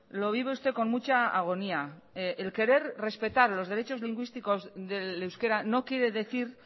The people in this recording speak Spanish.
lo vive usted con mucha agonía el querer respetar los derechos lingüísticos del euskera no quiere decir